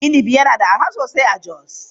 Inabi yana da arha sosai a Jos.